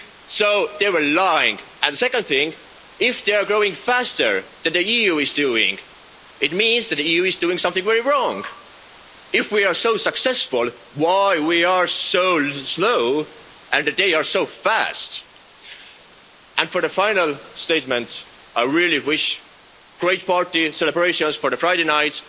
So they were lying. The second thing, if they are growing faster than the EU is doing, it means that the EU is doing something very wrong. If we are so successful, why are we so slow and they are so fast? For the final statement, I really wish great parties and celebrations for Friday